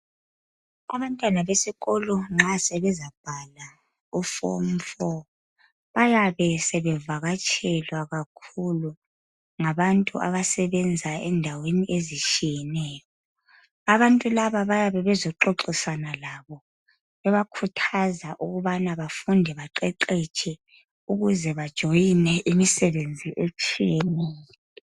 Abantwana besikolo nxa sebeza bhala uform 4 bayabe sebevakatshelwa kakhulu ngabantu abasebenza endaweni ezitshiyeneyo abantu laba bayabebezoxoxisana labo bebakhuthaza ukubana befunde baqeqeshe ukuze bejoiner imisebenzi etshiyeneyo